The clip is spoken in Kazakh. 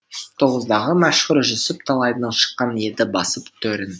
тоғыздағы мәшһүр жүсіп талайдың шыққан еді басып төрін